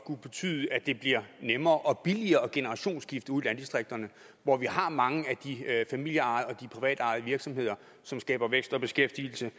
betyde at det bliver nemmere og billigere at generationsskifte ude i landdistrikterne hvor vi har mange af de familie og privatejede virksomheder som skaber vækst og beskæftigelse